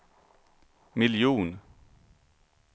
miljon